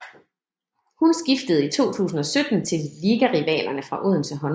Hun skiftede i 2017 til ligarivalerne fra Odense Håndbold